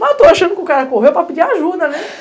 Mas eu estou achando que o cara correu para pedir ajuda, né?